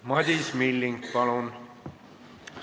Madis Milling, palun!